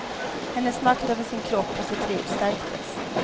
Hennes makt över sin kropp och sitt liv stärktes.